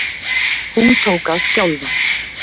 Hún tók að skjálfa.